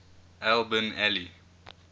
al bin ali